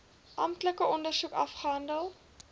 amptelike ondersoek afgehandel